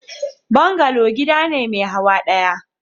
Bungalow gida ne mai hawa daya.